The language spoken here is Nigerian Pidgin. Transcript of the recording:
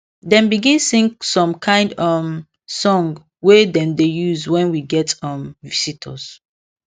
dem begin sing some kind um song wey dem dey use when we get um visitors